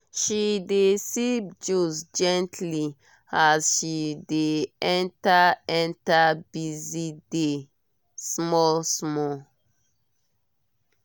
she dey sip juice gently as she dey enter enter busy day small small.